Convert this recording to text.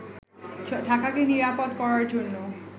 ঢাকাকে নিরাপদ করার জন্য